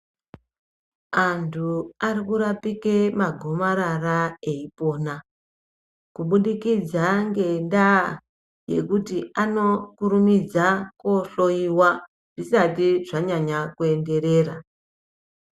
Antu vakutorapike magomarara eipona kubudikidza ngendaa yekuti vanokurumidza koohloyiwa zvisati zvanyanya kuenderera.